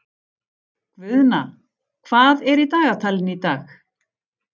Guðna, hvað er í dagatalinu í dag?